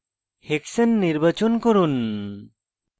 hexane নির্বাচন করুন